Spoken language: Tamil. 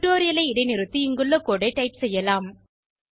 டுடோரியலை இடைநிறுத்தி இங்குள்ள கோடு ஐ டைப் செய்யலாம்